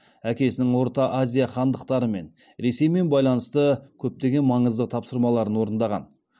әкесінің орта азия хандықтарымен ресеймен байланысты көптеген маңызды тапсырмаларын орындаған